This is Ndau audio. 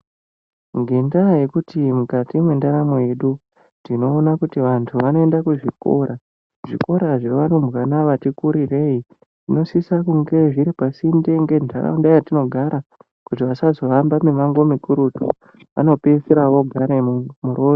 Ngendaa yekuti mwukati mwendaramo yedu, tinoona kuti vantu vanoenda kuzvikora, zvikora zvevarumbwana vati kurirei, zvinosisa kunge zviri pasinde ngentaraunda yatinogara, kuti vasazohamba mumango mikurutu. Vanopedzisira vogare murodhi.